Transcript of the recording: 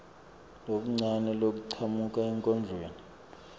lokuncane lokuchamuka enkondlweni